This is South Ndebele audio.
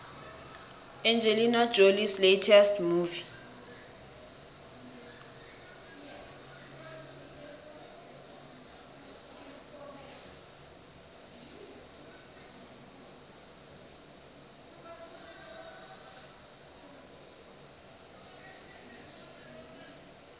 angelina jolies latest movie